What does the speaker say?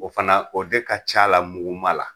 O fana, o de ka c'a la muguma la.